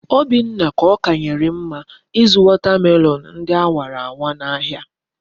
Obinna ka okanyerem mma izu watermelon ndi awara awa na ahia